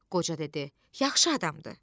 Qoca dedi: Yaxşı adamdır.